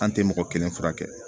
An tɛ mɔgɔ kelen furakɛ